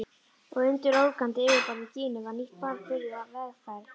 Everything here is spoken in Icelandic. Og undir ólgandi yfirborði Gínu var nýtt barn byrjað vegferð.